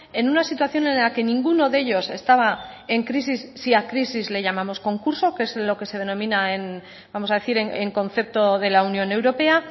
en una situación en la que ninguno de ellos estaba en crisis si a crisis le llamamos concurso que es lo que se denomina vamos a decir en concepto de la unión europea